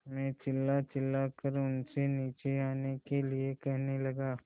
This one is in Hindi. मैं चिल्लाचिल्लाकर उनसे नीचे आने के लिए कहने लगा